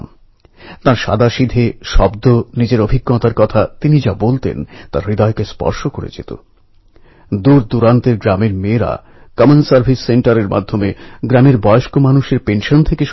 ১৯১৬র October মাসে লোকমান্য তিলকজী যখন আমেদাবাদে এসেছিলেন ভাবুন আজ থেকে ১০০ বছর আগে তাঁকে স্বাগত জানাতে চল্লিশ হাজারেরও বেশি মানুষ জড়ো হয়েছিলেন